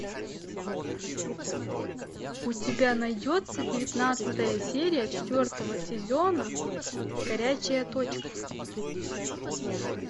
у тебя найдется девятнадцатая серия четвертого сезона горячая точка